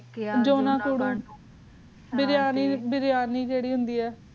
ਜੂਨਾ ਬੇਰ੍ਯਾਨੀ ਜੀਰੀ ਹੁੰਦੀ ਆ